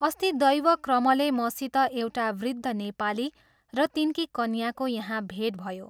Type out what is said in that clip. अस्ति दैवक्रमले मसित एउटा वृद्ध नेपाली र तिनकी कन्याको यहाँ भेट भयो।